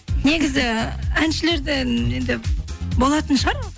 негізі әншілерден енді болатын шығар